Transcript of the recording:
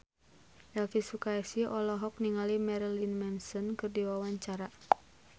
Elvy Sukaesih olohok ningali Marilyn Manson keur diwawancara